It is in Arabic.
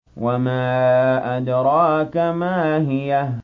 وَمَا أَدْرَاكَ مَا هِيَهْ